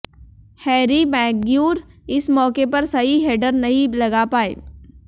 Harry Maguire इस मौके पर सही हेडर नहीं लगा पाए